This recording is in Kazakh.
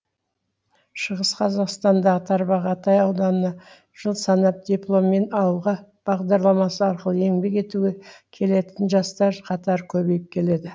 шығыс қазақстандағы тарбағатай ауданына жыл санап дипломмен ауылға бағдарламасы арқылы еңбек етуге келетін жастар қатары көбейіп келеді